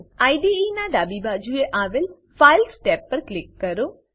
IDE નાં ડાબી બાજુએ આવેલ ફાઇલ્સ ટેબ પર ક્લિક કરો